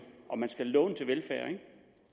og man skal låne til velfærd